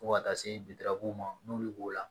Fo ka taa se ma n'olu b'o la